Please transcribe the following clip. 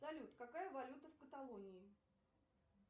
салют какая валюта в каталонии